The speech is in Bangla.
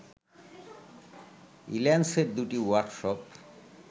ইল্যান্সের দুটি ওয়ার্কশপ